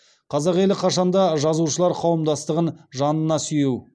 қазақ елі қашанда жазушылар қауымдастығын жанына сүйеу